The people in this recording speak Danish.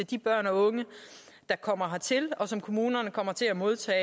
de børn og unge der kommer hertil og som kommunerne kommer til at modtage